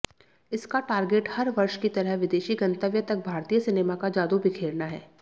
इसका टारगेट हर वर्ष की तरह विदेशी गंतव्य तक भारतीय सिनेमा का जादू बिखेरना है